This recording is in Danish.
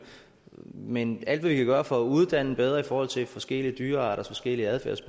men alt hvad vi kan gøre for at uddanne bedre i forhold til forskellige dyrearters forskellige adfærd